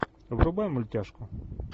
врубай мультяшку